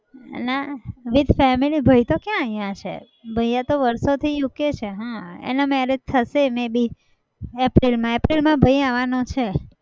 નાં with family ભાઈ તો કયા અહિયાં છે. ભાઈ તો વર્ષોથી UK છે. હા એના marriage થશે may be april માં april ભાઈ આવવાનો છે.